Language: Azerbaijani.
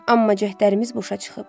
Amma cəhdlərimiz boşa çıxıb.